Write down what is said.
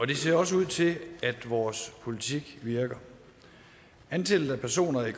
det ser også ud til at vores politik virker antallet af personer i